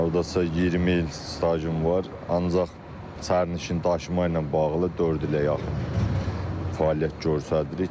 Hal-hazırda 20 il stajım var, ancaq sərnişin daşıma ilə bağlı dörd ilə yaxın fəaliyyət göstəririk.